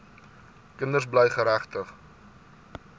kinders bly geregtig